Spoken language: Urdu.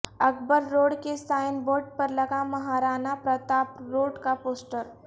اکبر روڈ کے سائن بورڈ پر لگا مہارانا پرتاپ روڈ کا پوسٹر